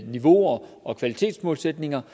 niveauer og kvalitetsmålsætninger